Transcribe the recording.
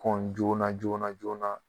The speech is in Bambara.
Kɔn joona joona joona